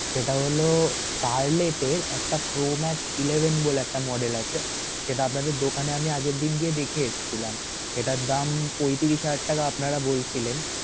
সেটা হল per late একটা pro max eleven বলে একটা model আছে, সেটা আপনাদের দোকানে আমি আগের দিন গিয়ে দেখে এসেছিলাম, সেটার দাম পঁয়ত্রিশ হাজার টাকা আপনারা বলছিলেন.